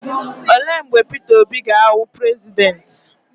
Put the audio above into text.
Olee mgbe Peter Obi ga-awụ prezidenti?